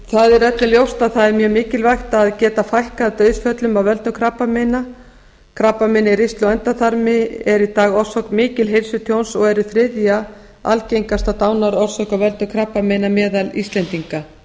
það er öllum ljóst að það er mjög mikilvægt að geta fækkað dauðsföllum af völdum krabbameina krabbamein í ristli og endaþarmi eru í dag orsök mikils heilsutjóns og eru þriðja algengasta dánarorsök af völdum krabbameina meðal íslendinga